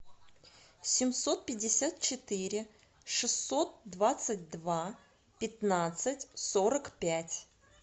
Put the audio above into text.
семьсот пятьдесят четыре шестьсот двадцать два пятнадцать сорок пять